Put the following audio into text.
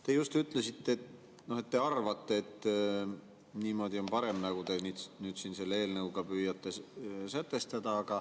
Te just ütlesite, et teie arvates niimoodi on parem, nagu te nüüd selle eelnõuga püüate sätestada.